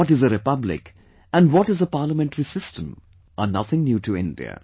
What is a republic and what is a parliamentary system are nothing new to India